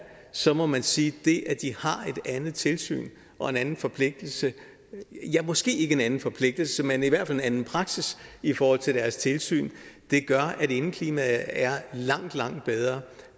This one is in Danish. så må man sige at det at de har et andet tilsyn og en anden forpligtelse ja måske ikke en anden forpligtelse men i hvert fald en anden praksis i forhold til deres tilsyn gør at indeklimaet er langt langt bedre